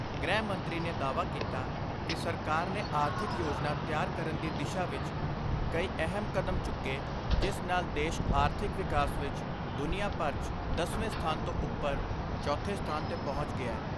ਗ੍ਰਹਿ ਮੰਤਰੀ ਨੇ ਦਾਅਵਾ ਕੀਤਾ ਕਿ ਸਰਕਾਰ ਨੇ ਆਰਥਿਕ ਯੋਜਨਾ ਤਿਆਰ ਕਰਨ ਦੀ ਦਿਸ਼ਾ ਵਿਚ ਕਈ ਅਹਿਮ ਕਦਮ ਚੁੱਕੇ ਜਿਸ ਨਾਲ ਦੇਸ਼ ਆਰਥਿਕ ਵਿਕਾਸ ਵਿਚ ਦੁਨੀਆਂ ਭਰ 'ਚ ਦਸਵੇਂ ਸਥਾਨ ਤੋਂ ਉਪਰ ਚੌਥੇ ਸਥਾਨ ਤੇ ਪਹੁੰਚ ਗਿਆ।